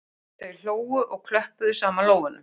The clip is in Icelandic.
Þau hlógu og klöppuðu saman lófunum